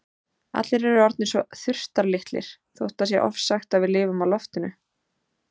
Allir eru orðnir svo þurftarlitlir þótt það sé ofsagt að við lifum á loftinu.